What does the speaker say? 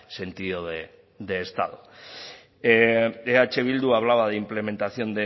sentido de estado eh bildu hablaba de implementación